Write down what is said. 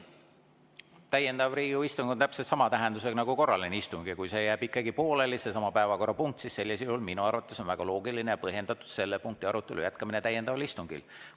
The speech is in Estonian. Täiendav Riigikogu istung on täpselt sama tähendusega nagu korraline istung ja kui see jääb ikkagi pooleli, seesama päevakorrapunkt, siis sellisel juhul minu arvates on väga loogiline ja põhjendatud selle punkti arutelu jätkamine täiendaval istungil.